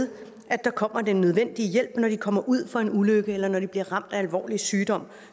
at der kommer den nødvendige hjælp når de kommer ud for en ulykke eller når de bliver ramt af alvorlig sygdom